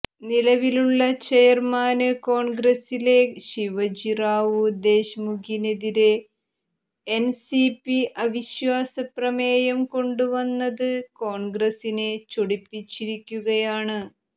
നിലവിലുള്ള ചെയര്മാന് കോണ്ഗ്രസിലെ ശിവജി റാവു ദേശ്മുഖിനെതിരെ എന് സി പി അവിശ്വാസ പ്രമേയം കൊണ്ടുവന്നത് കോണ്ഗ്രസിനെ ചൊടിപ്പിചിരിക്കുകയാണ്